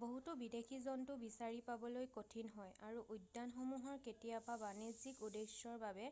বহুতো বিদেশী জন্তু বিচাৰি পাবলৈ কঠিন হয় আৰু উদ্যানসমূহৰ কেতিয়াবা বাণিজ্যিক উদ্দেশ্যৰ বাবে